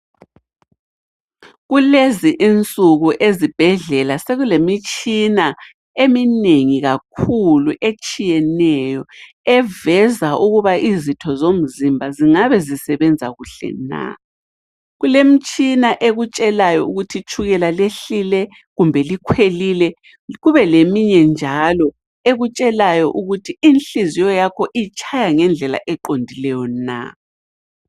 Kulezi insuku ezibhedlela sekulemitshina eminengi kakhulu etshiyeneyo eveza ukuba izitho zomzimba zingabe zisebenza kuhle na. Kulemtshina ekutshelayo ukuthi itshukela lehlile kumbe likhwelile kube leminye njalo ekutshelayo ukuthi inhliziyo yakho itshaya ngendlela eqondileyo na.